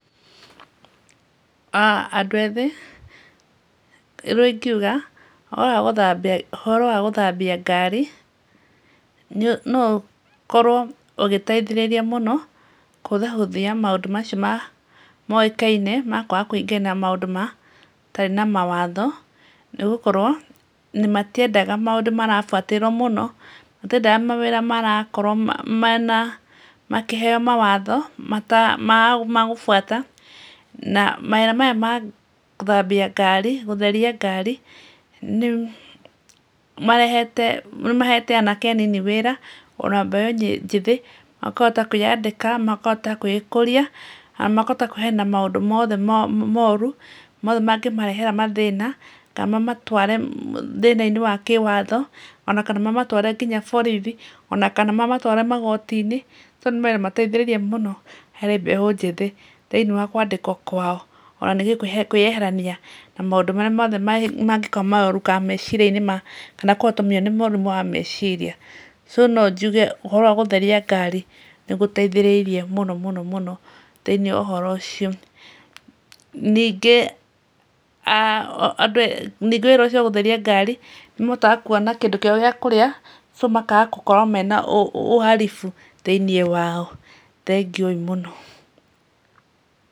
Andũ ethĩ ũrĩa ingiuga ũhoro wa gũthambia ngari no ũkorwo ũgĩteithĩrĩrie mũno kũhũthahũthia maũndũ macio moĩkaine ma kwĩingĩria na maũndũ matarĩ na mawatho. Nĩ gũkorwo matiendaga maũndũ marabuatĩrĩrwo mũno, matiendaga mawĩra maraheo mawatho ma gũbuata. Na mawĩra maya ma gũthambia ngari gũtheria ngari nĩ mahete anake anini wĩra ona mbeũ njĩthĩ. Makahota kwĩyandĩka, makahota gwĩkũria na makahota kũheana maũndũ mothe moru, mothe mangĩmarehera mathĩna kana mamatware thĩna-inĩ wa kĩwatho ona kana mamatware nginya borithi ona kana mamatware magooti-inĩ. Mau nĩ mawĩra mateithĩrĩirie mũno harĩ mbeũ njĩthĩ thĩinĩ wa kwandikwo kwao. Ona ningĩ kwĩyeherania na maũndũ marĩa mothe magĩkorwo me moru kana meciria-inĩ mao kana kũnyitwo nĩ mũrimũ wa meciria. So no njuge ũhoro wa gũtheria ngari nĩ gũteithĩrĩirie mũno mũno thĩinĩ wa ũhoro ũcio. Ningĩ ũhoro ũcio wa gũtheria ngari nĩ mahotaga kuona kĩndũ kĩao gĩa kũrĩa so makaaga gũkorwo mena uhalifu thĩinĩ wao. Thengiũ ĩĩ mũno.